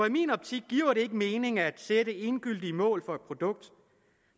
i min optik giver det ikke mening at sætte endegyldige mål for et produkt